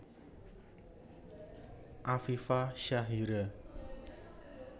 Afifa Syahira